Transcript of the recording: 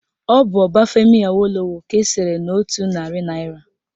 Ọ bụ Obafemi Awolowo ka esere n'otu narị naịra